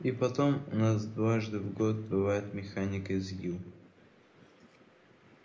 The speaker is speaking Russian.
и потом у нас дважды в год бывает механик из ю